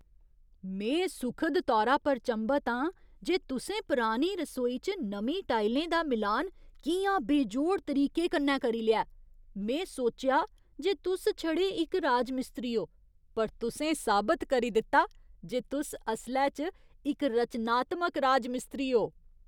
में सुखद तौरा पर चंभत आं जे तुसें परानी रसोई च नमीं टाइलें दा मिलान कि'यां बेजोड़ तरीके कन्नै करी लेआ। में सोचेआ जे तुस छड़े इक राजमिस्त्री ओ, पर तुसें साबत करी दित्ता जे तुस असलै च इक रचनात्मक राजमिस्त्री ओ।